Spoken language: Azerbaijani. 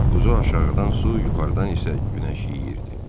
Buzu aşağıdan su, yuxarıdan isə günəş yeyirdi.